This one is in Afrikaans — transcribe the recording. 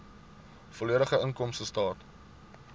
volledige inkomstestaat